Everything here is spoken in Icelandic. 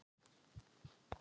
Svellköld Sandra.